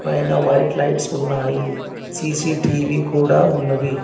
పైన white lights ఉన్నాయి CCTV కూడా ఉన్నది.